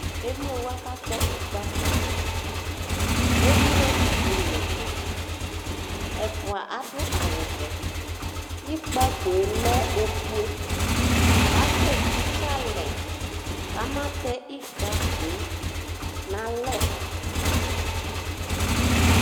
emlo wani kakpɔ ikpako emlo idzo n'ɛdi ɛfua ado awu vɛ ikpakoe lɛ ofue asɛ titse alɛ k'ama tɛ ikpakoe n'alɛ